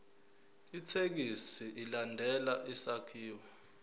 ithekisthi ilandele isakhiwo